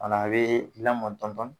Kuma na a bi laamɔn dɔɔnin dɔɔnin